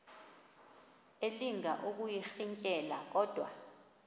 elinga ukuyirintyela kodwa